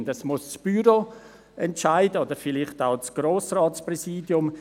Über das Wann wird das Büro entscheiden müssen oder vielleicht auch das Grossratspräsidium.